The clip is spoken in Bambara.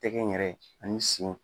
Tɛgɛ in yɛrɛ ani sen